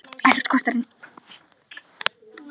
Ekkert kostar inn.